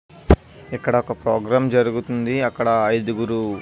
ఇక్కడొక ప్రోగ్రాం జరుగుతుంది అక్కడ ఐదుగురు --